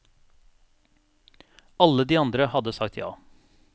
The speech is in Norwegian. Alle de andre hadde sagt ja.